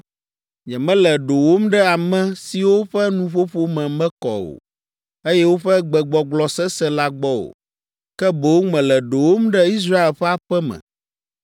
Nyemele ɖowòm ɖe ame siwo ƒe nuƒoƒo me mekɔ o, eye woƒe gbegbɔgblɔ sesẽ la gbɔ o, ke boŋ mele ɖowòm ɖe Israel ƒe aƒe me,